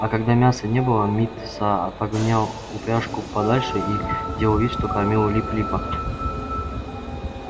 а когда мяса не было мит са отгонял упряжку подальше и делал вид что кормит лип липа